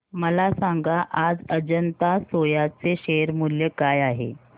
मला सांगा आज अजंता सोया चे शेअर मूल्य काय आहे